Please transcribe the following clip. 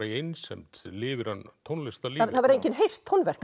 í einsemd lifir hann tónlistarlífi það hefur engin heyrt tónverk